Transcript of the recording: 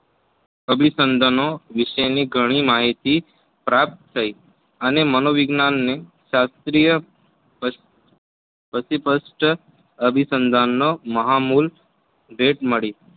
અભિસંદનો વિશેની ઘણી માહિતી પ્રાપ્ત થઈ અને મનોવિજ્ઞાનને શાસ્ત્રીય પતિપશ્ચ અભિસંદનનો મહામુલ ભેટ મળી.